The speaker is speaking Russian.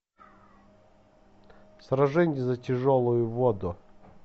сражение за тяжелую воду